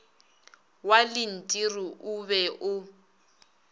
wa lentiri o be o